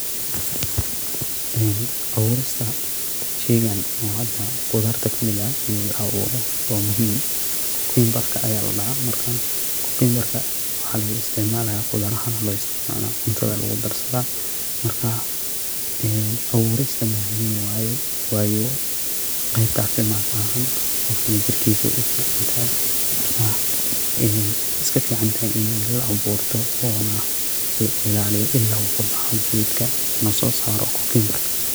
Abuurista sheygan oo hada qudaarta kamida, inii la abuuro waa muhiim, cucumber ayaa ladhaha marka cucumber waxaa lagu isticmalaya qudaar ahan ayaa loo isticmala cuntada lagu darsada, marka bauurista muhiim waaye wayo qeebta caafimad ahaan qofkana jirkiisa wey ufiicantahay marka iska fiicantahay inii la abuurta oona la ilaaliyo ilaa uu kabaxo geedka uuna soo saaro cucumber.